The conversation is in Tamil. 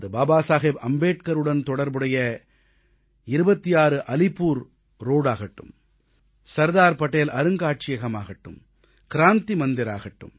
அது பாபா சாஹேப் அம்பேத்கருடன் தொடர்புடைய 26 அலிப்பூர் ரோடாகட்டும் சர்தார் படேல் அருங்காட்சியகமாகட்டும் கிராந்தி மந்திராகட்டும்